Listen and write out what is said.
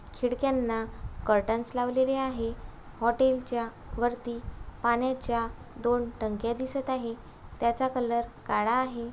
खिडक्यांना कॉटन स् लावलेले आहेत. हॉटेल च्या वरती पाण्याच्या दोन टंकया दिसत आहे त्याचा कलर काला आहे.